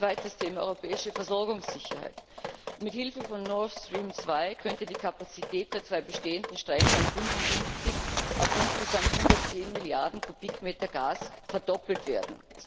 Zweites Thema europäische Versorgungssicherheit Mit Hilfe von Nord Stream 2 könnte die Kapazität der zwei bestehenden Stränge um 55 auf insgesamt 110 Milliarden Kubikmeter Gas verdoppelt werden.